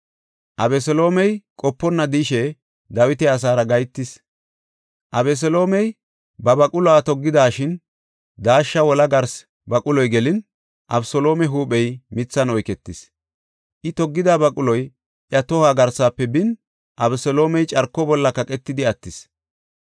Abeseloomey qoponna de7ishe Dawita asaara gahetis. Abeseloomey ba baquluwa toggidashin daashsha wola garsi baquloy gelin, Abeseloome huuphey mithan oyketis. I toggida baquloy iya tohuwa garsafe bin, Abeseloomey carko bolla kaqatidi attis.